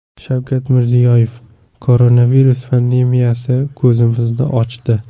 Shavkat Mirziyoyev: Koronavirus pandemiyasi ko‘zimizni ochdi.